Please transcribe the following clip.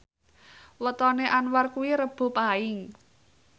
wetone Anwar kuwi Rebo Paing